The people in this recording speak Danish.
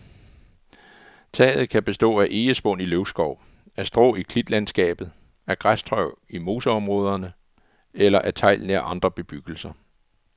Taget kan bestå af egespån i løvskov, af strå i klitlandskabet, af græstørv i moseområder eller af tegl nær andre bebyggelser.